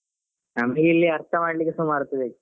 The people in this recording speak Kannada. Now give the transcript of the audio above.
ನಮ್ಗೆ ಇಲ್ಲಿ ಅರ್ಥ ಮಾಡ್ಲಿಕ್ಕೆ ಸುಮಾರ್ ಹೊತ್ತು ಬೇಕು.